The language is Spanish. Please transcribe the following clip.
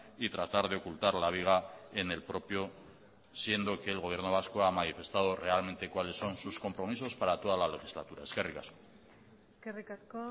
y tratar de ocultar la viga en el propio siendo que el gobierno vasco ha manifestado realmente cuáles son sus compromisos para toda la legislatura eskerrik asko eskerrik asko